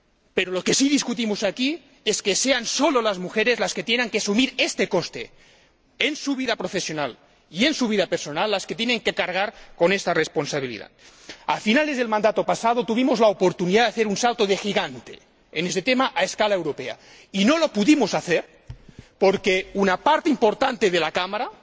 Pero lo que sí discutimos aquí es que sean solo las mujeres las que tengan que asumir este coste en su vida profesional y las que tienen que cargar con esta responsabilidad en su vida personal. A finales del mandato pasado tuvimos la oportunidad de hacer un salto de gigante en este tema a escala europea y no lo pudimos hacer porque una parte importante de la Cámara